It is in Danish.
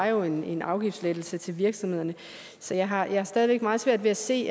jo var en en afgiftslettelse til virksomhederne så jeg har stadig væk meget svært ved at se